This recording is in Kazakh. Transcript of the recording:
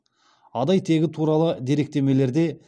адай тегі туралы деректемелерде